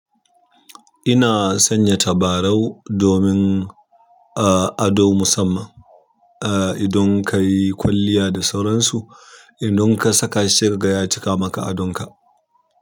Ina sanya tabarau domin a ado musamman. A idan ka yi kwalliya da sauransu, idan ka saka shi sai kaga ya cika maka adon ka.